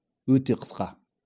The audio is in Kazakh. өте қысқа